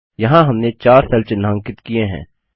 यहाँ हमने 4 सेल चिन्हांकित किए हैं